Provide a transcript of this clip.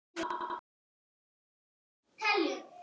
Af ást skal blíðuna bjóða.